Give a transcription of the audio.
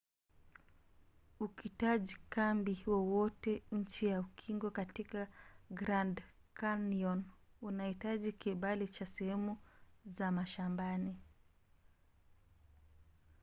ukitaji kambi wowote chini ya ukingo katika grand canyon unahitaji kibali cha sehemu za mashambani